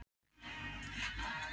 Hve oft tókst þeim að sigra?